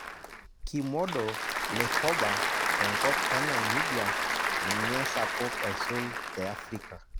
Kimodo le Hoba tenkop enamibia ninye sapuk aisul te Afrika